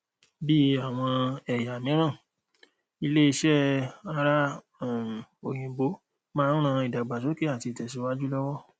bí àwọn ẹyà miran ilẹ ìṣe ara um oyinbo má ń rán idagbasoke àti itesiwaju lowo